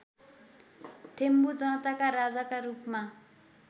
थेम्बु जनताका राजाका रूपमा